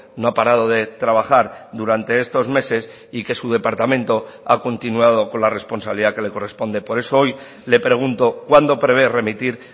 no ha parado de trabajar durante estos meses y que su departamento ha continuado con la responsabilidad que le corresponde por eso hoy le pregunto cuándo prevé remitir